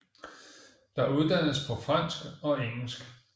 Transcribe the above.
Der uddannes på fransk og engelsk